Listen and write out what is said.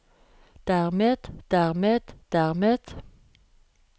dermed dermed dermed